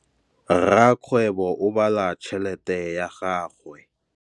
Rakgwêbô o bala tšheletê ya gagwe.